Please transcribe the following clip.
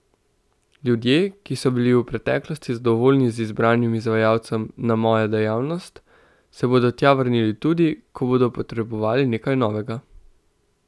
Ljudje, ki so bili v preteklosti zadovoljni z izbranim izvajalcem na Moja dejavnost, se bodo tja vrnili tudi, ko bodo potrebovali nekaj novega.